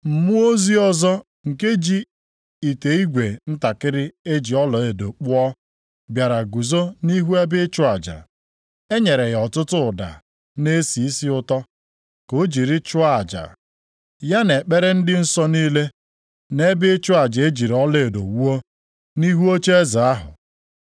Mmụọ ozi ọzọ nke ji ite igwe ntakịrị e ji ọlaedo kpụọ bịara guzo nʼihu ebe ịchụ aja. E nyere ya ọtụtụ ụda na-esi isi ụtọ ka o jiri chụọ aja, ya na ekpere ndị nsọ niile, nʼebe ịchụ aja e jiri ọlaedo wuo, nʼihu ocheeze ahụ.